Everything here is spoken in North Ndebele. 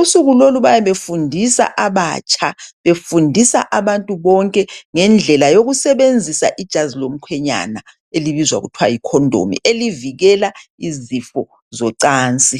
Usuku lolu bayabe befundisa abatsha, befundisa abantu bonke ngendlela yokusebenzisa ijazi lomkhwenyana elibizwa kuthiwa yi condom. Elivikela izifo zocansi.